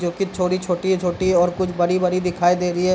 जोकि थोड़ी छोटी-छोटी और कुछ बड़ी-बड़ी दिखाई दे रही है।